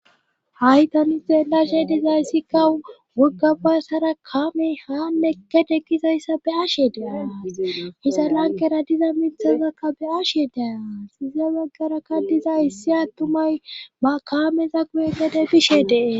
Haytani zeelashe dizay sikka wuggaba sara kaame haannekedekizayssa be ashe deas hisa lankera diza mithazakka be ashe deas iza baggarakka diza issi attumay ba kaameza guye gede bishe dee.